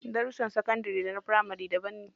Darussan sakandari da na firamari daban ne.